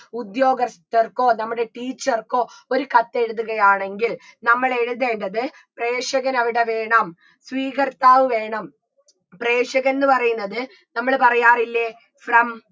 ഉദ്യോഗസ്ഥർക്കോ നമ്മുടെ teacher ക്കോ ഒരു കത്തെഴുതുകയാണെങ്കിൽ നമ്മൾ എഴുതേണ്ടത് പ്രേഷകനവിടെ വേണം സ്വീകർത്താവ് വേണം പ്രേഷകൻന്ന് പറയുന്നത് നമ്മള് പറയാറില്ലേ from